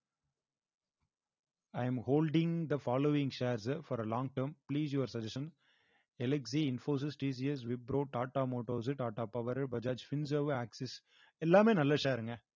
i am holding the following shares for a long term please your suggestion Infosys TCS Wipro Tata Motors Tata power Bajaj Axis எல்லாமே நல்ல share ங்க